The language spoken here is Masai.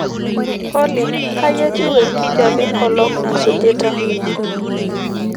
olly kai etiu enkijape engolon nasujita